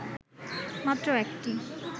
মাত্র ১টি